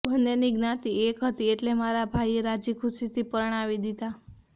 બન્નેની જ્ઞાતિ એક હતી એટલે મારા ભાઈએ રાજીખુશીથી પરણાવી દીધાં